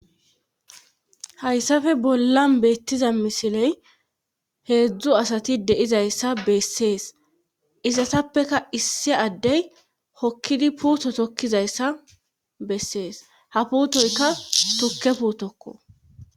Hayssape bollan beettiza misiley heedzdzu asati deizayssa bessees isasappeka issi addey hokkidi puutotokkizayssa bessees ha puutoyka tukke puutokko